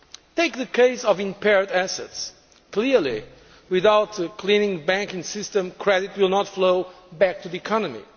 Take the case of impaired assets clearly, without cleaning the banking system, credit will not flow back to the economy.